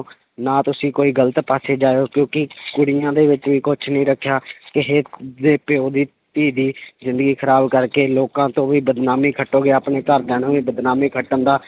ਨਾ ਤੁਸੀਂ ਕੋਈ ਗ਼ਲਤ ਪਾਸੇ ਜਾਇਓ ਕਿਉਂਕਿ ਕੁੜੀਆਂ ਦੇ ਵਿੱਚ ਵੀ ਕੁਛ ਨੀ ਰੱਖਿਆ ਕਿਸੇ ਦੇ ਪਿਓ ਦੀ ਧੀ ਦੀ ਜ਼ਿੰਦਗੀ ਖ਼ਰਾਬ ਕਰਕੇ ਲੋਕਾਂ ਤੋਂ ਵੀ ਬਦਨਾਮੀ ਖੱਟੋਗੇ ਆਪਣੇ ਘਰਦਿਆਂ ਨੂੰ ਵੀ ਬਦਨਾਮੀ ਖੱਟਣ ਦਾ